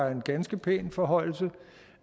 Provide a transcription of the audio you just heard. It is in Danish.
en ganske pæn forhøjelse